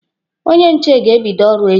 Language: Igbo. Onye nche ga-ebịdo ọrụ echi.